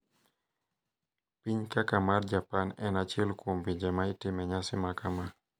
Piny kaka mar Japan en achiel kuom pinje ma itime nyasi makama.